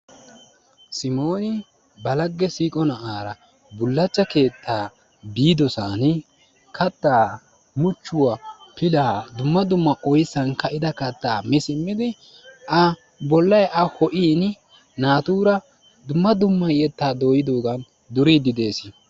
Simoni ba lagge siiqo na'aara bullacha keetta biidosan katta muchchuwa, pilaa, dumma dumma oyssan kaida katta mi simmidi A bollay A ho'iini naatura dumma dumma yetta dooyidogan duridi de'ees.